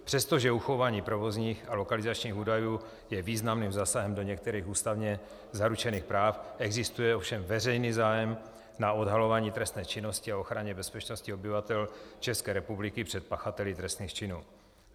Přestože uchování provozních a lokalizačních údajů je významným zásahem do některých ústavně zaručených práv, existuje ovšem veřejný zájem na odhalování trestné činnosti a ochraně bezpečnosti obyvatel České republiky před pachateli trestných činů.